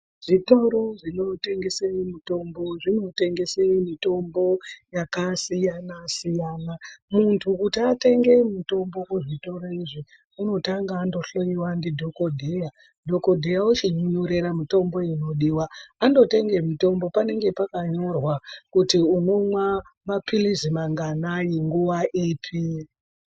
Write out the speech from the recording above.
Zvitoro zvinotengese mitombo, zvinotengese mitombo yakasiyana-siyana. Muntu kuti atenge mitombo muzvitoro izvi, unotanga andohloyiwa ndidhogodheya. Dhogodheya wochikunyorera mitombo inodiwa. Andotenge mitombo, panenge pakanyorwa kuti unomwa maphirizi manganani nguwa ipi.